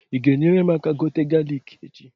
Ị ga-enyere mụ aka gote galik echi?